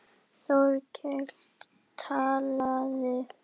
Þórkell talaði.